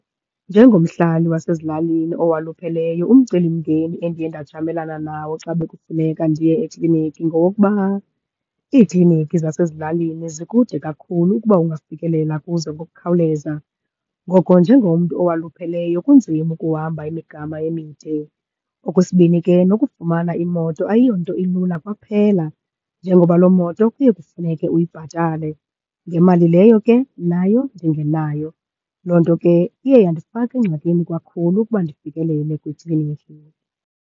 Njengomhlali wasezilalini owalupheleyo, umcelimngeni endiye ndajamelana nawo xa bekufuneka ndiye ekliniki ngowokuba iikliniki zasezilalini zikude kakhulu ukuba ungafikelela kuzo ngokukhawuleza. Ngoko njengomntu owalupheleyo kunzima ukuhamba imigama emide. Okwesibini ke nokufumana imoto ayiyonto ilula kwaphela, njengoba loo moto iye kufuneke uyibhatale ngemali leyo ke nayo ndingenayo. Loo nto ke iye yandifaka engxakini kakhulu ukuba ndifikelele kwikliniki.